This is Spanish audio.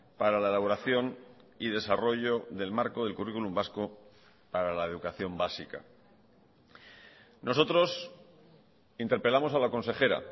para la elaboración y desarrollo del marco del currículum vasco para la educación básica nosotros interpelamos a la consejera